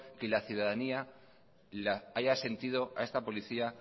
que la ciudadanía la haya sentido a esta policía